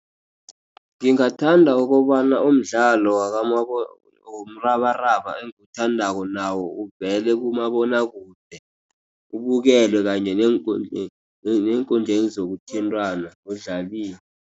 Ngingathanda ukobana umdlalo womrabaraba engiwuthandako nawo uvele kumabonakude, ubukelwe kanye neenkundleni zokuthintana udlaliwa